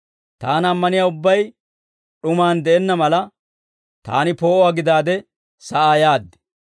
Taana ammaniyaa ubbay d'umaan de'enna mala, Taani poo'uwaa gidaade sa'aa yaad.